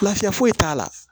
Lafiya foyi t'a la